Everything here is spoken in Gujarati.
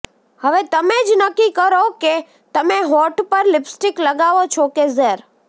હવે તમે જ નક્કી કરો કે તમે હોંઠ પર લીપસ્ટીક લગાવો છો કે ઝેર